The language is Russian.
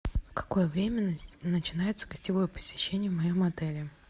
в какое время начинается гостевое посещение в моем отеле